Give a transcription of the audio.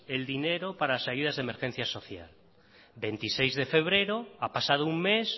el dinero para las ayudas de emergencia social veintiseis de febrero ha pasado un mes